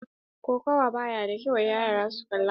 Kokawa ba ya da kyau wa yara su kalla.